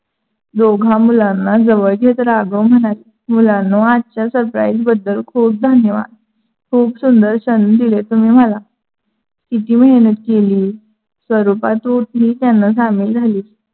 दोघा मुलांना जवळ घेत राघव म्हणाले. मुलांनो आजच्या surprise बद्दल खूप धन्यवाद. खूप सुंदर संधी दिली तुम्ही मला. कीती मेहनत केली. स्वरूपा तू त्‍यांना सामील झाली.